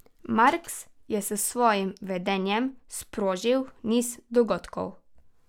Marks je s svojim vedenjem sprožil niz dogodkov.